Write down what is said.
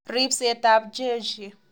Ribsetab jeshi